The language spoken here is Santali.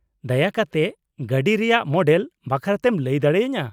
-ᱫᱟᱭᱟ ᱠᱟᱛᱮᱫ ᱜᱟᱹᱰᱤ ᱨᱮᱭᱟᱜ ᱢᱚᱰᱮᱞ ᱵᱟᱠᱷᱨᱟᱛᱮᱢ ᱞᱟᱹᱭ ᱫᱟᱲᱮᱭᱟᱹᱧᱟᱹ ᱾